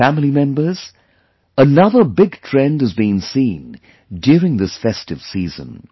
My family members, another big trend has been seen during this festive season